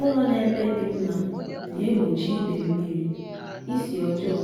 ụlọ nọ ebe dị mma na-egbochi ide mmiri isi ọjọọ